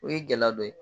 O ye gɛlɛya dɔ ye